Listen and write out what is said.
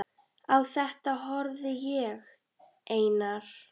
Á þetta horfði ég, Einar